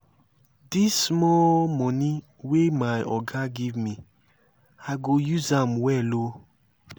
dis small moni wey my oga give me i go use am well o.